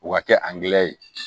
O ka kɛ angilɛ ye